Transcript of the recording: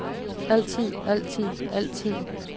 altid altid altid